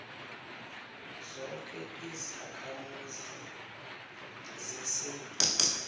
zoke izakhamuzi zesewula